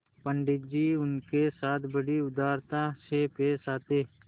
पंडित जी उनके साथ बड़ी उदारता से पेश आते